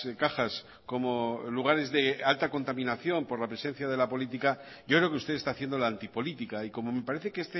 cajas como lugares de alta contaminación por la presencia de la política yo creo que usted está haciendo la antipolítica y como me parece que